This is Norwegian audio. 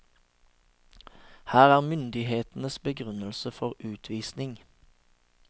Her er myndighetenes begrunnelse for utvisning.